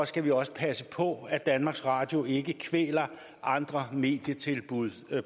skal vi også passe på at danmarks radio ikke kvæler andre medietilbud